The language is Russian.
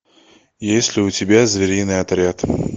есть ли у тебя звериный отряд